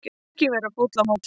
Ekki vera fúll á móti